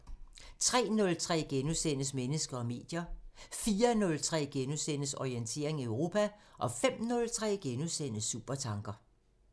03:03: Mennesker og medier * 04:03: Orientering Europa * 05:03: Supertanker *